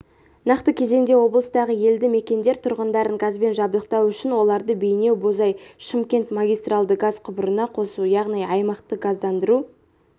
нақты кезеңде облыстағы елді мекендер тұрғындарын газбен жабдықтау үшін оларды бейнеу-бозой-шымкент магистралды газ құбырына қосу яғни аймақты газдандыру